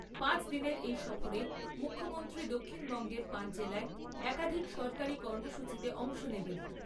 পাঁচ দিনের এই সফরে মুখ্যমন্ত্রী দক্ষিণবঙ্গের পাঁচ জেলায় একাধিক সরকারি কর্মসূচীতে অংশ নেবেন।